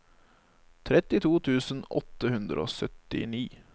trettito tusen åtte hundre og syttini